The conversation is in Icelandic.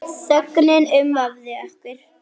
Þögnin umvafði okkur.